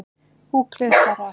Gúgglið bara.